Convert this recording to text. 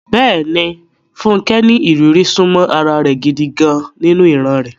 Bẹ́ẹ̀ni, Funke ní ìrírí súnmọ́ ara rẹ̀ gidi gan-an nínú ìran rẹ̀.